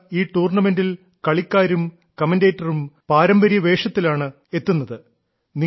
മാത്രമല്ല ഈ ടൂർണമെന്റിൽ കളിക്കാരും കമൻഡേറ്ററും പാരമ്പര്യ വേഷത്തിലാണ് എത്തുന്നത്